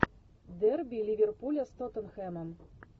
дерби ливерпуля с тоттенхэмом